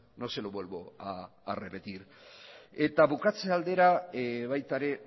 no se lo vuelvo a repetir eta bukatze aldera baita ere